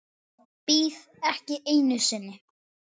Bíð ekki einu sinni.